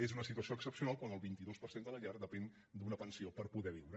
és una situació excepcional quan el vint dos per cent de les llars depenen d’una pensió per poder viure